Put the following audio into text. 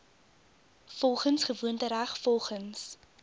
volgens gewoontereg volgens